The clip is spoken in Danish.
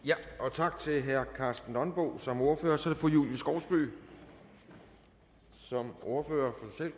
tak til herre karsten nonbo som ordfører så er det fru julie skovsby som ordfører